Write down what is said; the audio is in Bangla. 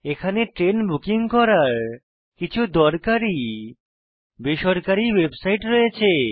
এখানে ট্রেন বুকিং করার কিছু দরকারী বেসরকারী ওয়েবসাইট রয়েছে